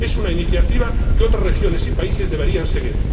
Es una iniciativa que otras regiones y países deberían seguir.